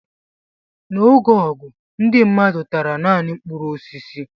N'oge ọgụ, ndị mmadụ tara naanị mkpụrụ osisi.